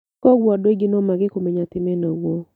Kwoguo andũ aingĩ no mage kũmenya atĩ menaguo